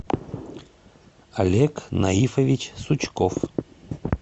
олег наифович сучков